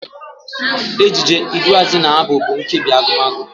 Ejije, iduuazụ na Abụ bụ nkebi Agụmagụ.